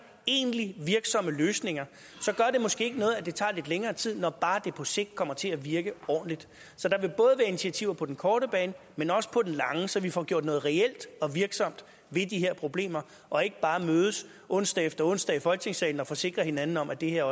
egentlige virksomme løsninger så gør det måske ikke noget at det tager lidt længere tid når bare det projekt kommer til at virke ordentligt så der vil både være initiativer på den korte bane men også på den lange så vi får gjort noget reelt og virksomt ved de her problemer og ikke bare mødes onsdag efter onsdag i folketingssalen og forsikrer hinanden om at det her